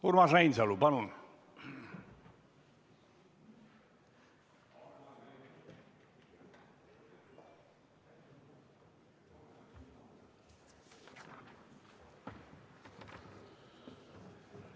Urmas Reinsalu, palun!